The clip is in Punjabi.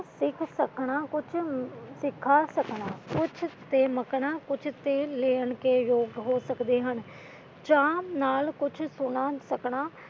ਕੁਛ ਸਿੱਖ ਸਕਣਾ ਕੁਛ ਸਿਖਾ ਸਕਣਾ ਕੁਛ ਤੇ ਮਕਣਾ ਕੁਛ ਤੇ ਲੈ ਕੇ ਜੋਗ ਹੋ ਸਕਦੇ ਹਨ ਚਾਅ ਨਾਲ ਕੁਛ ਸੁਣਾ ਸਕਣਾ